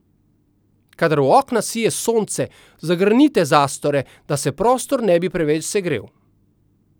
Kadar v okna sije sonce, zagrnite zastore, da se prostor ne bi preveč segrel.